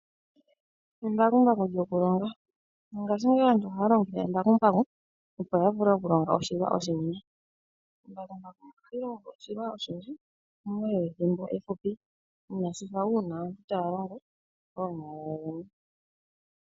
Embakumbaku lyokulonga. Mongashingeyi aantu ohaya longitha embakumbaku, opo ya vule okulonga oshilwa oshinene. Embakumbaku ohali longo oshilwa oshinene muule wethimbo efupi inaashi fa uuna taya longo koonyala.